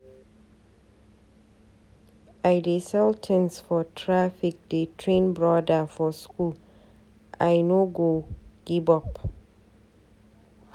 I dey sell tins for traffic dey train broda for skool, I no go give up.